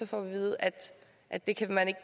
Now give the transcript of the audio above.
får at vide at at det kan man ikke